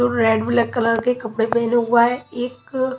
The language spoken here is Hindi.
जो रेड ब्लैक कलर के कपड़े पेहने हुआ है एक--